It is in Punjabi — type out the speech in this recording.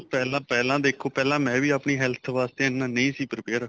ਪਹਿਲਾਂ ਪਹਿਲਾਂ ਦੇਖੋ ਪਹਿਲਾਂ ਮੈਵੀ ਆਪਣੀ health ਵਾਸਤੇ ਐਨਾ ਨਹੀਂ ਸੀ prepare